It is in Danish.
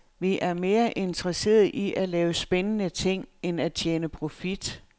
Vi er mere interesserede i at lave spændende ting end at tjene profit.